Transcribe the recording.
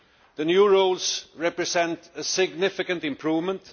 The new rules represent a significant improvement.